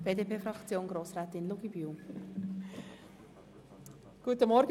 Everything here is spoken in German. Wir kommen zu weiteren Fraktionssprecherinnen und -sprechern.